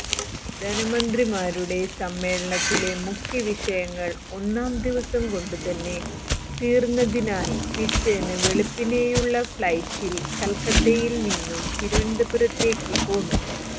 ധനമന്ത്രിമാരുടെ സമ്മേളനത്തിലെ മുഖ്യവിഷയങ്ങൾ ഒന്നാംദിവസംകൊണ്ടുതന്നെ തീർന്നതിനാൽ പിറ്റേന്ന് വെളുപ്പിനെയുള്ള ഫ്ളൈറ്റിൽ കൽക്കത്തയിൽ നിന്നും തിരുവനന്തപുരത്തേയ്ക്ക് പോന്നു